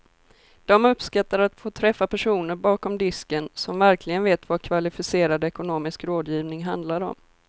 De uppskattar att få träffa personer bakom disken som verkligen vet vad kvalificerad ekonomisk rådgivning handlar om.